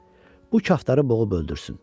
Bu kaftarı boğub öldürsün.